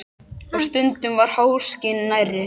Og stundum var háskinn nærri.